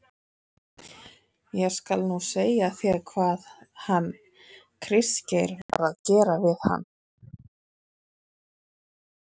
ÉG SKAL NÚ SEGJA ÞÉR HVAÐ HANN KRISTGEIR VAR AÐ GERA VIÐ HANN.